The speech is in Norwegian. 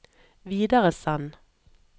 videresend